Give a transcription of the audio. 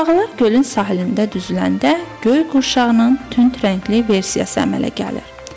Qurbağalar gölün sahilində düzüləndə göy qurşağının tünd rəngli versiyası əmələ gəlir.